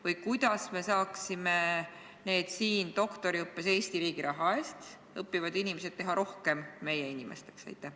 Või kuidas me saaksime need siin doktoriõppes Eesti riigi raha eest õppivad inimesed teha rohkem meie inimesteks?